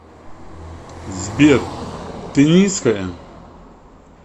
сбер ты низкая